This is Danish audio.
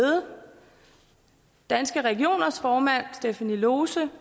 danske regioners formand stephanie lose